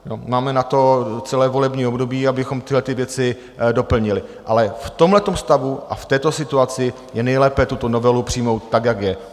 Máme na to celé volební období, abychom tyhlety věci doplnili, ale v tomhletom stavu a v této situaci je nejlépe tuto novelu přijmout tak, jak je.